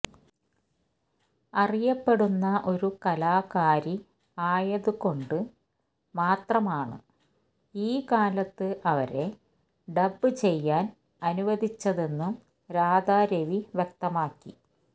അറിയപ്പെടുന്ന ഒരു കലാകാരി ആയതുകൊണ്ട് മാത്രമാണ് ഈ കാലത്ത് അവരെ ഡബ്ബ് ചെയ്യാന് അനുവദിച്ചതെന്നും രാധാ രവി വ്യക്തമാക്കി